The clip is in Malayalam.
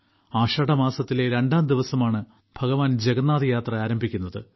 ആഷാഢമാസത്തിലെ രണ്ടാം ദിവസമാണ് ഭഗവാൻ ജഗന്നാഥയാത്ര ആരംഭിക്കുന്നത്